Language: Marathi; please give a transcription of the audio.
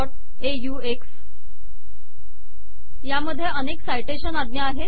referencesऑक्स यामध्ये अनेक साइटेशन आज्ञा आहेत